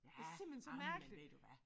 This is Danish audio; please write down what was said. Det simpelthen så mærkeligt